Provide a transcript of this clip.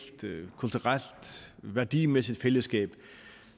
kulturelt og værdimæssigt fællesskab